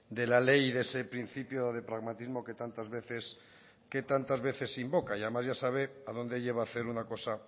de la ley y de ese principio de pragmatismo que tantas veces se invoca y además ya sabe a dónde lleva hacer una cosa